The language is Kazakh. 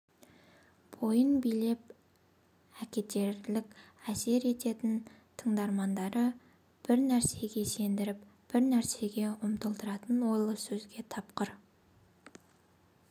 бойын билеп әкетерлік әсер ететін тыңдармандары бір нәрсеге сендіріп бір нәрсеге ұмтылдыратын ойлы сөзге тапқыр